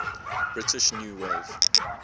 british new wave